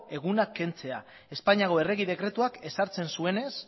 egunak kentzea espainiako errege dekretuak ezartzen zuenez